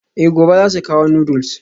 Eh gobe zasu kawo noodles.